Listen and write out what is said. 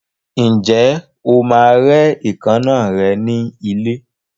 Ǹjẹ́ o máa rẹ́ èékánná rẹ ní ilé?